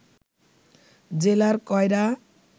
জেলার কয়রা